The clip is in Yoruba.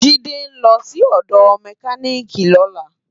Jide n lò si òdò mèkánikí lòlá